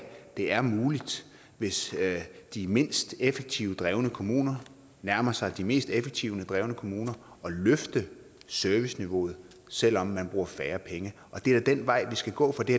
det er muligt hvis de mindst effektivt drevne kommuner nærmer sig de mest effektivt drevne kommuner at løfte serviceniveauet selv om man bruger færre penge det er da den vej vi skal gå for det